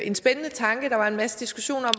en spændende tanke der var en masse diskussion